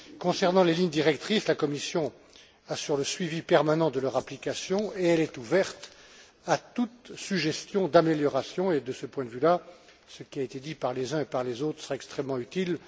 Concernant les lignes directrices, la Commission assure le suivi permanent de leur application et elle est ouverte à toute suggestion d'amélioration et, de ce point de vue là, ce qui a été dit par les uns et par les autres serait extrêmement utile.